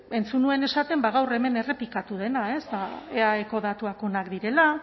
bueno entzun nuen esaten ba gaur hemen errepikatu dena eaeko datuak onak direla